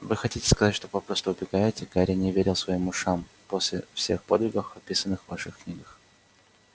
вы хотите сказать что попросту убегаете гарри не верил своим ушам после всех подвигов описанных в ваших книгах